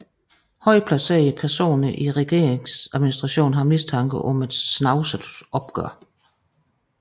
Højtplacerede personer i regeringsadministrationen har mistanke om et snavset opgør